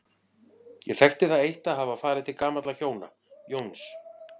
Ég þekkti það eitt að hafa farið til gamalla hjóna, Jóns